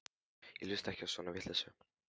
Ég hlusta ekki á svona vitleysu.